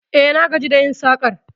E, na gaji da yin sakar